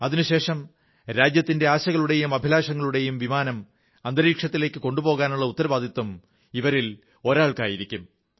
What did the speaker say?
അതിനുശേഷം രാജ്യത്തിന്റെ ആശകളുടെയും അഭിലാഷങ്ങളുടെയും വിമാനം ബഹിരാകാശത്തിലേക്ക് കൊണ്ടുപോകാനുള്ള ഉത്തരവാദിത്തം ഇവരിൽ ഒരാൾക്കായിരിക്കും